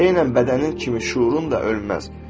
Eynən bədənin kimi, şüurun da ölməz.